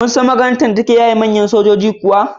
Ka san makarantar da take yaye manyan sojoji kuwa?